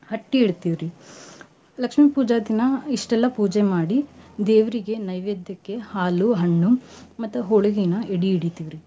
ಹಟ್ಟಿ ಇಡ್ತೇವ್ ರಿ ಲಕ್ಷ್ಮೀ ಪೂಜಾ ದಿನಾ ಇಸ್ಟಎಲ್ಲಾ ಪೂಜೆ ಮಾಡಿ ದೇವ್ರಿಗೆ ನೈವೇದ್ಯಕ್ಕೆ ಹಾಲು ಹಣ್ಣು ಮತ್ತ ಹೋಳ್ಗಿನ ಎಡಿ ಹಿಡಿತೀವ್ ರಿ.